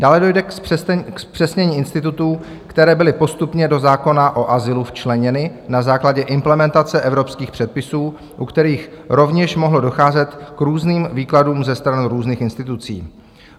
Dále dojde k zpřesnění institutů, které byly postupně do zákona o azylu včleněny na základě implementace evropských předpisů, u kterých rovněž mohlo docházet k různým výkladům ze strany různých institucí.